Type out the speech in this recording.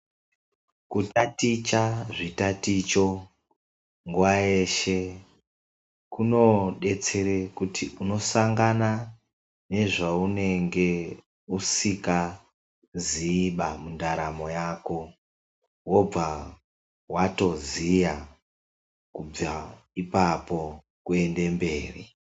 Kutaticha zvitaticho nguwa yeshe kunodetsere kuti unosangana nezveunenge usingaziiba mundaramo yako. Wobva watoziya kubvepo kuendemberi.